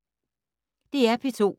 DR P2